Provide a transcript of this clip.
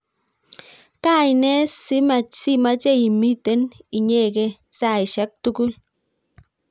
kaine simache imiten inyegei saishek tugul?